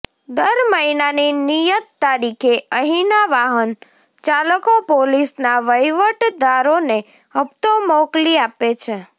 દર મહિનાની નિયત તારીખે અહીના વાહન ચાલકો પોલીસના વહીવટદારોને હપ્તો મોકલી આપે છે